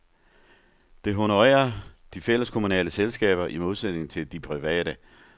Det honorerer de fælleskommunale selskaber i modsætning til de private.